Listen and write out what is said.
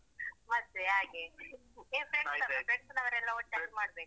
ಮತ್ತೇ ಹಾಗೆ ನೀವ್ friends ಅಲ್ಲ friends ನವರೆಲ್ಲ ಒಟ್ಟಾಗ್ ಮಾಡ್ಬೇಕು ಹಾಗೆ.